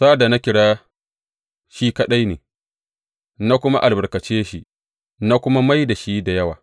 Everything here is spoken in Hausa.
Sa’ad da na kira shi kaɗai ne, na kuma albarkace shi na kuma mai da shi da yawa.